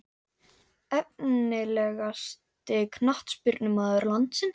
Efnilegasti knattspyrnumaður landsins?